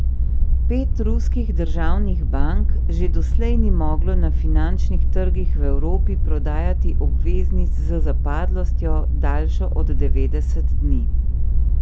Pet ruskih državnih bank že doslej ni moglo na finančnih trgih v Evropi prodajati obveznic z zapadlostjo, daljšo od devetdeset dni.